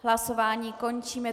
Hlasování končím.